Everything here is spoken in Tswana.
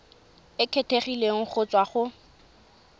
e kgethegileng go tswa go